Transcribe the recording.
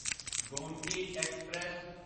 Gomti express